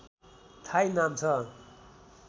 Thai नाम छ